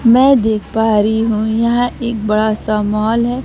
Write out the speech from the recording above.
मैं देख पा रही हूं यहां एक बड़ा सा मॉल है।